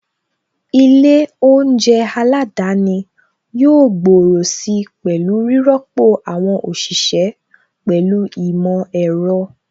Ilé oúnjẹ aládani yóò gbòòrò si pẹ̀lú rírọ́pò àwọn òṣìṣẹ́ pẹ̀lú ìmọ̀ ẹ̀rọ.